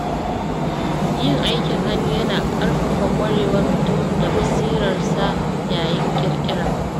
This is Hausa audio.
Yin aikin hannu yana ƙarfafa ƙwarewar mutum da basirarsa ya yin ƙirƙira.